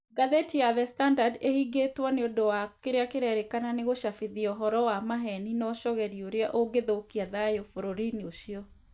Ngathĩti ya The Standard ĩhingĩtwo nĩũndũ wa kĩrĩa kĩrerĩkana nĩ gũcabithia ũhoro wa maheni na ũcogeri ũrĩa ũngĩthũkia thayũ bũrũri-inĩ ũcio